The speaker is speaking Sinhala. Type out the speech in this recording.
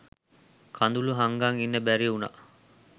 කඳුළු හංගන් ඉන්න බැරි උනා.